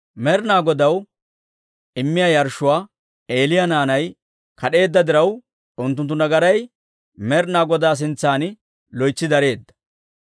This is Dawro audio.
Med'inaa Godaw immiyaa yarshshuwaa Eeliyaa naanay kad'eedda diraw, unttunttu nagaray Med'inaa Godaa sintsan loytsi dareedda.